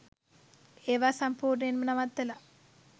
ඒව සම්පූර්ණයෙන්ම නවත්තල